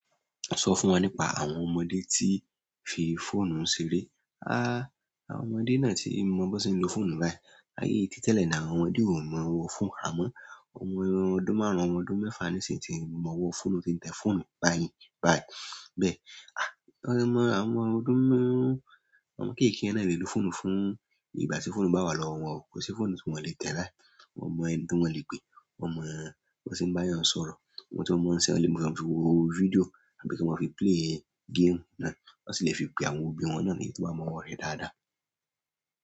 Sọ fún wa nípa àwọn ọmọdé tí fi fóònù ṣeré. A, àwọn ọmọdé náà tí mọ bí wọ́n ṣe ń lo fóònù báyìí. Ayé tí tẹ́lẹ̀ ni àwọn ọmọdé ò mọ ọwọ́ fóònù. Àmọ́, ọmọ ọdún márùn-ún, ọmọ ọdún mẹ́fà ní sìn ti mọ òwò fóònù, tí ń tẹ fóònù báyìí. Báyìí bẹ́ẹ̀. À, wọ́n mọ àwọn ọmọ ọdún márùn-ún, àwọn ọmọ kéékèèké náà lè lo fóònù fún ìgbà tí fóònù bá wà lọ́wọ́ wọn. Kò sí fóònù tí wọ́n le tẹ báyìí. Wọ́n mọ ẹni tí wọ́n le pe. Wọ́n mọ bí wọ́n ṣe ń bá èèyàn sọ̀rọ̀. Wọ́n tí mọ ti wọ́n le máa ń fi wo fídíò àbí kí wọ́n fi play game náà. Wọ́n sì lè fi pe àwọn òbí wọn náà ni tó bá mọ ọwọ́ rẹ dáadáa.